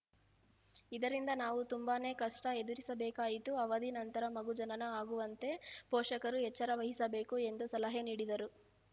ಇದರಿಂದ ನಾವು ತುಂಬಾನೇ ಕಷ್ಟಎದುರಿಸಬೇಕಾಯಿತು ಅವಧಿ ನಂತರ ಮಗು ಜನನ ಆಗುವಂತೆ ಪೋಷಕರು ಎಚ್ಚರವಹಿಸಬೇಕು ಎಂದು ಸಲಹೆ ನೀಡಿದರು